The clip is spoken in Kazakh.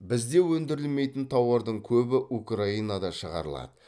бізде өндірілмейтін тауардың көбі украинада шығарылады